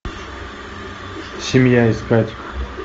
семья искать